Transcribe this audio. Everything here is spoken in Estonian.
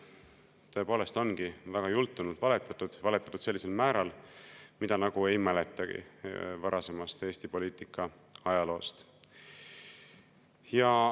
Tõepoolest ongi väga jultunult valetatud, on valetatud sellisel määral, nagu ei mäletagi varasemast Eesti poliitika ajaloost.